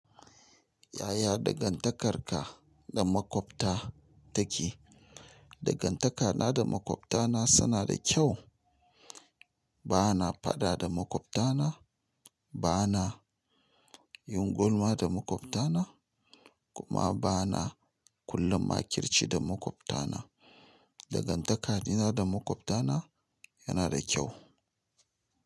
Yaya dangantakarka da makwabta take? Dangantakana da makwabtana suna da kyau. Bana faɗa da maƙwabtana, bana yin gulma da maƙwabtana, kuma bana kulla makirci da maƙwabtana. Dangantaka ɗina da maƙwabtana yana da kyau.